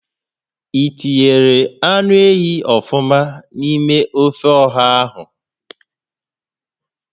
I tinyere anụ ehi ọfụma n'ime ófé ọ̀hà ahụ?